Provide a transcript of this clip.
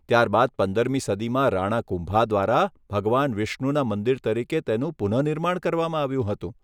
ત્યારબાદ પંદરમી સદીમાં રાણા કુંભા દ્વારા ભગવાન વિષ્ણુના મંદિર તરીકે તેનું પુનઃનિર્માણ કરવામાં આવ્યું હતું.